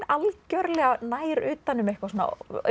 algjörlega nær utan um eitthvað svona